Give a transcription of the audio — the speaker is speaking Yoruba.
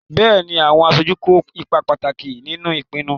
Bẹ́ẹ̀ni, àwọn aṣojú kó ipa pàtàkì nínú ìpinnu.